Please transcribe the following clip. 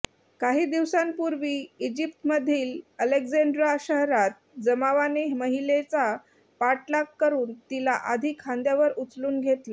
काही दिवसांपूर्वी इजिप्तमधील अलेक्झांड्रा शहरात जमावाने महिलेचा पाठलाग करून तिला आधी खांद्यावर उचलून घेतलं